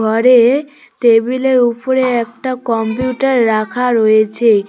ঘরে টেবিলের ওপরে একটা কম্পিউটার রাখা রয়েছে।